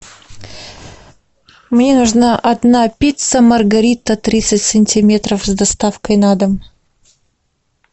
мне нужна одна пицца маргарита тридцать сантиметров с доставкой на дом